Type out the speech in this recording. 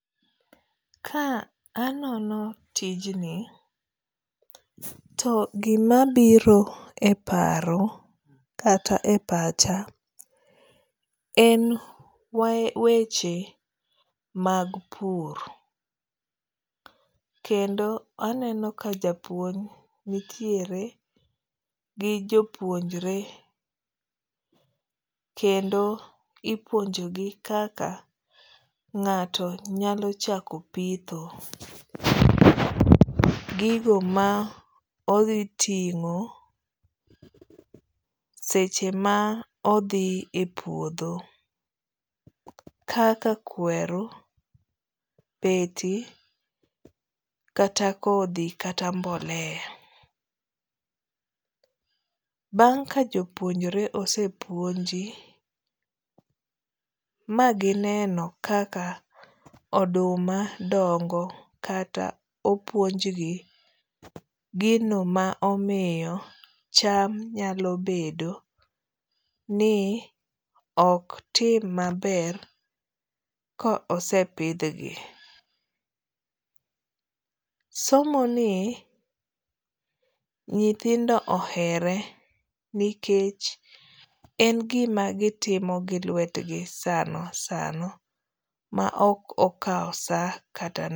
Ka anono tijni to gima biro e paro kata e pacha en weche mag pur. Kendo aneno ka japuonj nitiere gi jopuonjre kendo ipuonjo gi kaka ng'ato nyalo chako pitho. Gigo ma odhi ting'o seche ma odhi e puodho. Kaka kweru, beti, kata kodhi kata mbolea. Bang' ka jopuonjre ose puonji ma gineno kaka oduma dongo kata opuonj gi gino ma omiyo cham nyalo bedo ni ok tim maber ko osepidhgi. Somo ni nyithindo ohere nikech en gima gitimo gi lwetgi sano sano ma ok okaw sa kata.